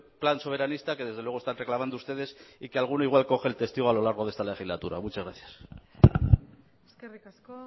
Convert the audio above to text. plan soberanista que desde luego están reclamando ustedes y a que alguno igual coge el testigo a lo largo de esta legislatura muchas gracias eskerrik asko